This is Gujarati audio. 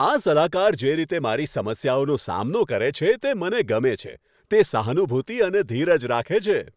આ સલાહકાર જે રીતે મારી સમસ્યાઓનો સામનો કરે છે તે મને ગમે છે. તે સહાનુભૂતિ અને ધીરજ રાખે છે.